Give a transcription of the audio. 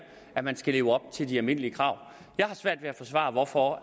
at man skal leve op til de almindelige krav jeg har svært ved at forsvare hvorfor